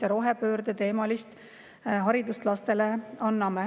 … ja rohepöördeteemalist haridust lastele.